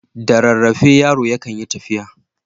Da rarrafe yaro yakan yi tafiya.